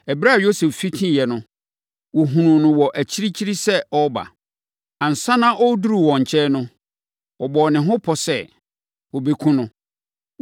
Ɛberɛ a Yosef fitiiɛ no, wɔhunuu no wɔ akyirikyiri sɛ ɔreba. Ansa na ɔreduru wɔn nkyɛn no, wɔbɔɔ ne ho pɔ sɛ wɔbɛkum no.